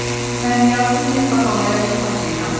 Eh, mən yazıq Netta xalaya çox acıyıram.